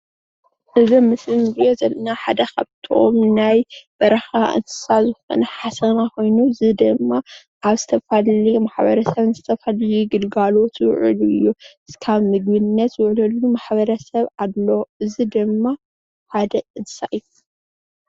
እዚ ኣብ ምስሊ እንሪኦ ዘለና ሓደ ካብቶም ናይ በረካ እንስሳ ዝኮነ ሓሰማ ኮይኑ እዚ ድማ ኣብ ዝተፈላለየ ማሕበረ ሰብ ዝተፈላለየ ግልጋሎት ዝውዕል እዩ ፡፡ ክሳብ ንምግብነት ዝውዕለሉ ማሕበረሰብ ኣሎ እዚ ድማ ሓደ እንስሳ እዩ፡፡